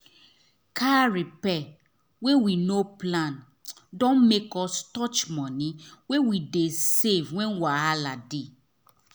car repair wey we no plan don make us touch money wey we dey save when wahala dey